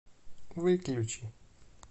выключи